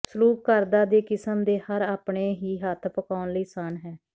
ਸਲੂਕ ਕਰਦਾ ਦੇ ਕਿਸਮ ਦੇ ਹਰ ਆਪਣੇ ਹੀ ਹੱਥ ਪਕਾਉਣ ਲਈ ਆਸਾਨ ਹੈ